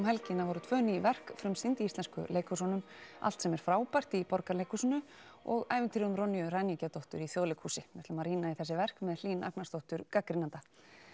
helgina voru tvö ný verk frumsýnd í íslensku leikhúsunum allt sem er frábært í Borgarleikhúsinu og ævintýrið um ræningjadóttur í Þjóðleikhúsi við ætlum að rýna í þessi verk með Hlín Agnarsdóttur gagnrýnanda